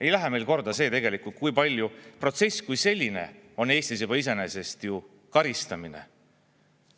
Ei lähe meile korda see, kui palju protsess kui selline on Eestis juba iseenesest ju karistamine.